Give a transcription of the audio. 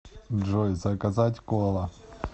джой заказать кола